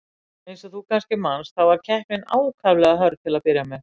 Eins og þú kannski manst, þá var keppnin ákaflega hörð til að byrja með.